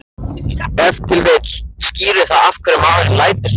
Ef til vill skýrir það af hverju maðurinn lætur svona.